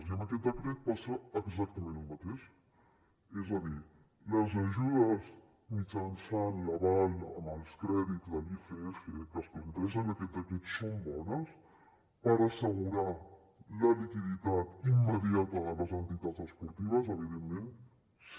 i amb aquest decret passa exactament el mateix és a dir les ajudes mitjançant l’aval en els crèdits de l’icf que es planteja en aquest decret són bones per assegurar la liquiditat immediata de les entitats esportives evidentment sí